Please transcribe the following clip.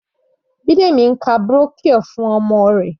Bidemi ń ka brochure fún ọmọ rẹ̀.